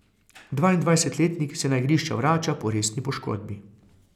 Dvaindvajsetletnik se na igrišča vrača po resni poškodbi.